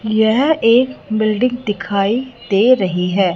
यह एक बिल्डिंग दिखाई दे रही है।